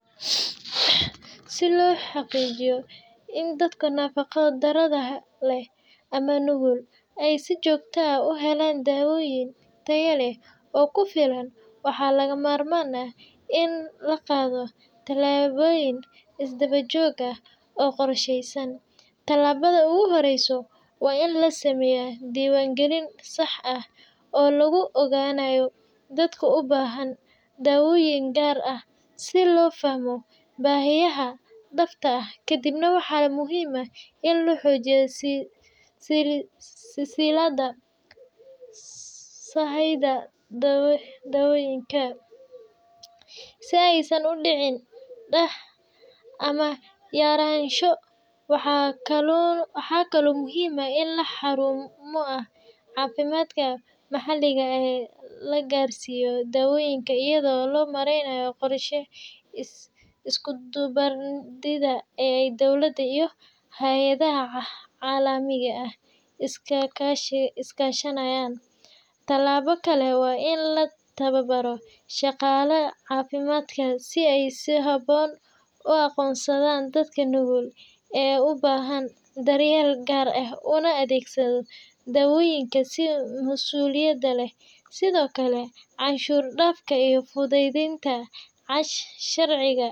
Si loo xaqiijiyo in dadka nafaqo darrada leh ama nugul ay si joogto ah u helaan daawooyin tayo leh oo ku filan, waxaa lagama maarmaan ah in la qaado tallaabooyin isdaba joog ah oo qorsheysan. Tallaabada ugu horreysa waa in la sameeyo diiwaan-gelin sax ah oo lagu ogaanayo dadka u baahan daawooyin gaar ah, si loo fahmo baahiyaha dhabta ah. Kadib waxaa muhiim ah in la xoojiyo silsiladda sahayda dawooyinka (sida keeni kara daawooyinka, kaydinta, iyo qaybinta), si aysan u dhicin daah ama yaraansho. Waxaa kaloo muhiim ah in xarumaha caafimaadka maxalliga ah la gaarsiiyo daawooyinka iyadoo loo marayo qorshe isku dubbaridan oo ay dawladda iyo hay’adaha caalamiga ah iska kaashanayaan. Tallaabo kale waa in la tababaro shaqaalaha caafimaadka si ay si habboon u aqoonsadaan dadka nugul ee u baahan daryeel gaar ah una adeegsadaan daawooyinka si masuuliyad leh. Sidoo kale, canshuur dhaafka iyo fududeynta sharciga.